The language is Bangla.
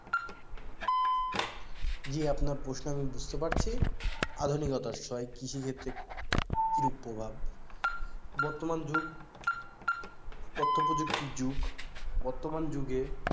জি আপনার প্রশ্ন আমি বুঝতে পারছি আধুনিকতার ছোঁয়ায় কৃষিক্ষেত্রে কিরূপ প্রভাব? বর্তমান যুগ তথ্যপ্রযুক্তির যুগ বর্তমান যুগে,